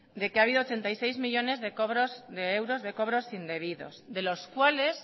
de que ha habido ochenta y seis millónes de euros de cobros indebidos de los cuales